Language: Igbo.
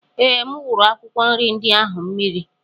Ee, M wuru akwụkwọ nri ndị ahụ mmiri.